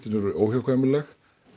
eru óhjákvæmileg